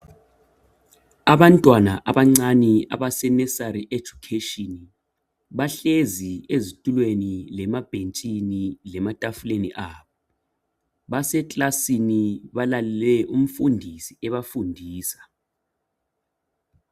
Abantwana abancane abase nursery education, bahlezi ezitulweni lemabhentshini lematafuleni abo. Basekilasini balalele umfundisi ebafundisa